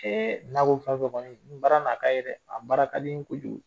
n'a b'o fan fɛ kɔni baara na ka ye dɛ a baara ka di n ye kojugu.